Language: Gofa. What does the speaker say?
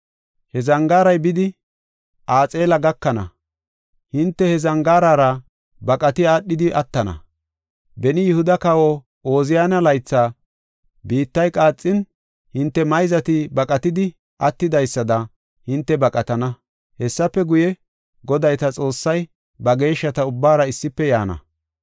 He zangaaray bidi Axeela gakana; hinte he zangaarara baqati aadhidi attana. Beni Yihuda kawa Ooziyaane laythi biittay qaaxin, hinte mayzati baqatidi attidaysada hinte baqatana. Hessafe guye, Goday ta Xoossay ba geeshshata ubbaara issife yaana.